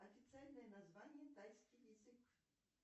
официальное название тайский язык